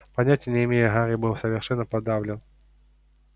понятия не имею гарри был совершенно подавлен